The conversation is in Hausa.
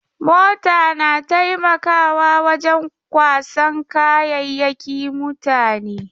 Mota na taimakawa wajen kwasan kayayyaki mutane.